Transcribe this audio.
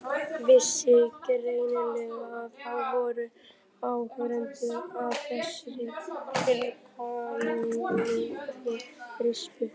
Vissi greinilega að það voru áhorfendur að þessari tilkomumiklu rispu.